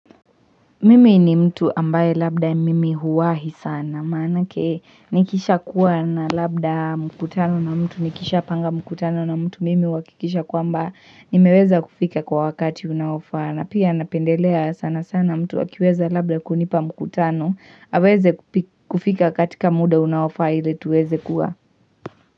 Mimi ni mtu ambaye labda mimi huwahi sana, maana yake nikisha kuwa na labda mkutano na mtu nikisha panga mkutano na mtu mimi uhakikisha kwamba nimeweza kufika kwa wakati unaofaa, na pia napendelea sana sana mtu akiweza labda kunipa mkutano, aweze kufika katika muda unaofaa ili tuweze kuwa.